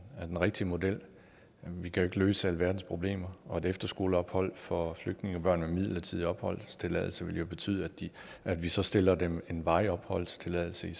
rigtige model vi kan ikke løse alverdens problemer og et efterskoleophold for flygtningebørn med midlertidig opholdstilladelse ville jo betyde at vi så stillede dem en varig opholdstilladelse i